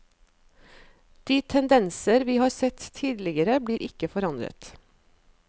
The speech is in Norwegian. De tendenser vi har sett tidligere blir ikke forandret.